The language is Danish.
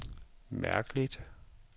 mærkeligt